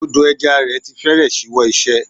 Odò ẹja rẹ̀ ti fẹ́rẹ̀ ṣíwọ́ iṣẹ́.